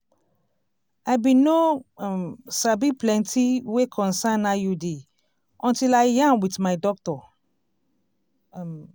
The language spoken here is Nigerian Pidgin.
i bin no um sabi plenti wey concern iud until i yarn wit my doctor um